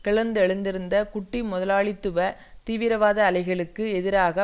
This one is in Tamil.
கிளர்ந்தெழுந்திருந்த குட்டி முதலாளித்துவ தீவிரவாத அலைகளுக்கு எதிராக